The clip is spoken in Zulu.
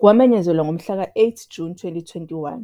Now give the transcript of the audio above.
Kwamenyezelwa ngomhlaka-8 Juni 2021